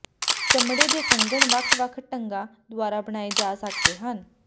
ਚਮੜੇ ਦੇ ਕੰਗਣ ਵੱਖ ਵੱਖ ਢੰਗਾਂ ਦੁਆਰਾ ਬਣਾਏ ਜਾ ਸਕਦੇ ਹਨ